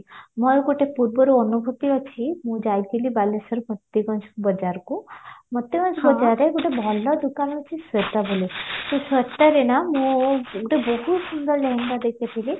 ମୋର ଗୋଟେ ପୁଇର୍ବାରୁ ଅନୁଭୂତି ଅଛି ମୁଁ ଅଜିଥିଲି ବାଲେଶ୍ଵର ବଜାରକୁ ଗୋଟେ ଭଲ ଦୋକାନ ଅଛି ବହୁତ ସୁନ୍ଦର ଦେଖିଥିଲି